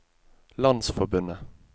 landsforbundet